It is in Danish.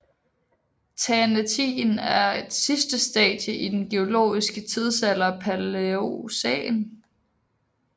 Thanetien er sidste stadie i den geologiske tidsalder Palæocæn